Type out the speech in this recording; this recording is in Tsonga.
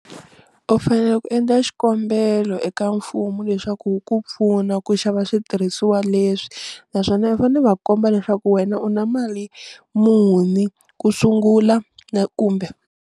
U fanele ku endla xikombelo eka mfumo leswaku wu ku pfuna ku xava switirhisiwa leswi naswona u fanele va komba leswaku wena u na mali muni ku sungula na kumbe.